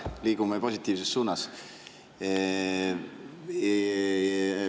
Liigume positiivses suunas.